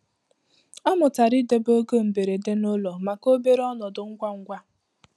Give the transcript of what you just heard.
Ọ mụtara idobe ego mberede n'ụlọ maka obere ọnọdụ ngwa ngwa.